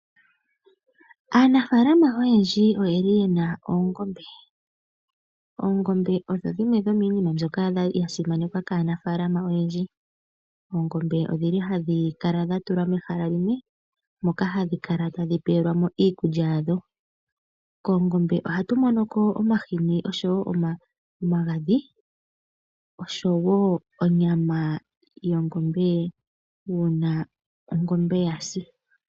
Aanafalama oyendji oye li yena oongombe. Oongombe odho dhimwe dhoniimina mbyoka ya simanekwa kaanafalama oyendji. Oongombe ohadhi kala dha tulwa mehala limwe moka hadhi kala tadhi pewelwa mo iikulya yadho. Koongombe ohatu mono omahini, omagadhi oshowo onyama yongombe uuna ongombe ya si.